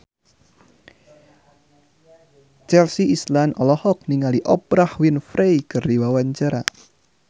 Chelsea Islan olohok ningali Oprah Winfrey keur diwawancara